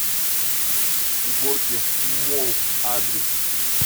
горки молл адрес